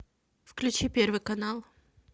включи первый канал